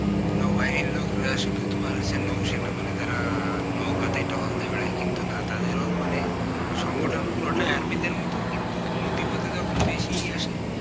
নৌবাহিনীর লোকরা হচ্ছে শুধু নৌসেনা মানে তারা নৌকাতেই টহল দিয়ে বেড়ায় কিন্তু না তাদের ও মানে সংগঠন পুরোটা army দের মতন কিন্তু নদী পতে যখন বেশি আসে